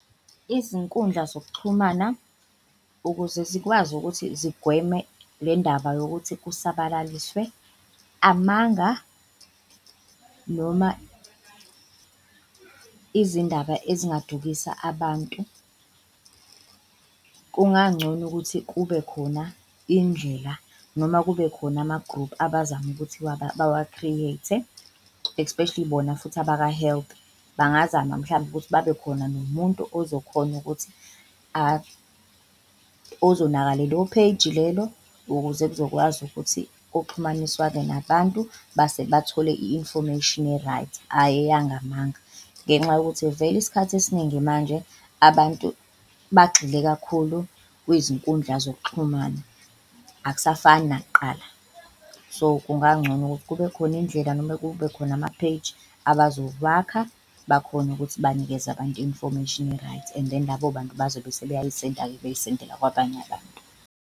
Izinkundla zokuxhumana ukuze zikwazi ukuthi zigweme le ndaba yokuthi kusabalaliswe amanga noma izindaba ezingadukisa abantu, kungancono ukuthi kube khona indlela noma kube khona ama-group abazama ukuthi bawa-create-e, especially bona futhi abaka-health. Bangazama mhlambe ukuthi babe khona nomuntu ozokhona ukuthi ozonaka lelo page lelo ukuze lizokwazi ukuthi kuxhumaniswane nabantu base bathole i-information e-right ayi eyangamanga. Ngenxa yokuthi vele isikhathi esiningi manje abantu bagxile kakhulu kwizinkundla zokuxhumana akusafani nakuqala so, kungancono ukuthi kube khona indlela noma kube khona ama-page abazowakha bakhone ukuthi banikeze abantu i-information e-right. And then labo bantu bazobe sebeyayisenda-ke beyisendela kwabanye abantu.